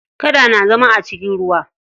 Kada na zama a cikin ruwa.